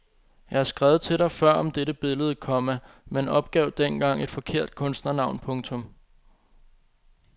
Jeg har skrevet til dig før om dette billede, komma men opgav dengang et forkert kunstnernavn. punktum